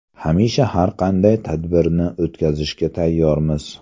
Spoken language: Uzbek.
Hamisha har qanday tadbirni o‘tkazishga tayyormiz.